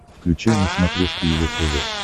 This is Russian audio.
включай на смотрешке его тв